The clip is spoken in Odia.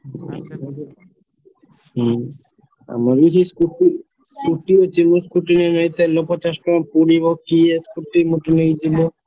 ହୁଁ ଆମର ବି ସେଇ, scooty ଅଛି ମୁଁ scooty ନେଇନି ତେଲ ପଚାଶ ଟଙ୍କାର ପୋଡ଼ିବ କିଏ scooty ଫୁଟି ନେଇକି ଯିବ ତା'ପରେ ବହୁତ ହଇରାଣ ଗାଡି କୋଉଠି ରଖିବ ମୁଁ ଏଥି ପାଇଁ scooty ଫୁଟି ନେଇକି ଯାଏନି ସାଇକେଲ ନେଇକି ଯାଏ।